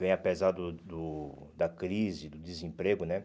Vem apesar do do da crise, do desemprego, né?